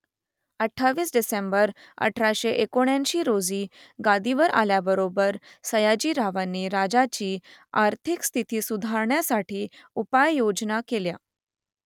अठ्ठावीस डिसेंबर अठराशे एक्याऐंशी रोजी गादीवर आल्याबरोबर सयाजी रावांनी राज्याची आर्थिक स्थिती सुधारण्यासाठी उपाययोजना केल्या